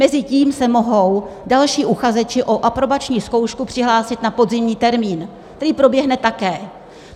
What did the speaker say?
Mezitím se mohou další uchazeči o aprobační zkoušku přihlásit na podzimní termín, který proběhne také.